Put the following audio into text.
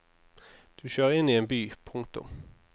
Du kjører inn i en by. punktum